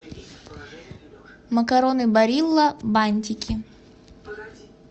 макароны барилла бантики